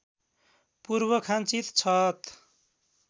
पूर्व खाँचित छत